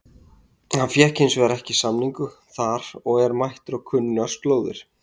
Hann fékk hins vegar ekki samning þar og er mættur á kunnar slóðir.